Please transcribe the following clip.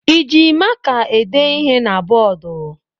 Ị ji maka ede ihe na bọọdụ?